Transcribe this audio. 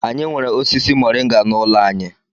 Anyị nwere osisi mọrịnga n'ụlọ anyị.